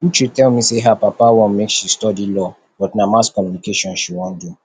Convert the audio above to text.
uche tell me say her papa want make she study law but na mass communication she wan do